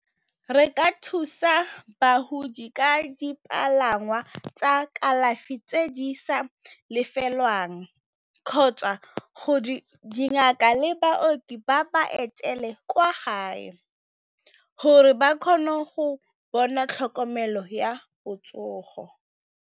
Re ka thusa bagodi ka dipalangwa tsa kalafi tse di sa lefelwang, kgotsa dingaka le baoki ba ba etele kwa gae gore ba kgone go bona tlhokomelo ya botsogo.